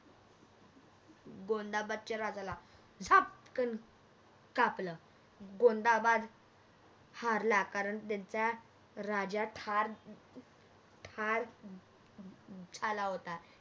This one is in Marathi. गोंदाबादच्या राजाला झपकण अर कापल गोंदाबाद हारला कारण त्यांचा राजा ठार ठार झाला होता